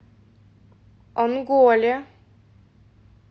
онголе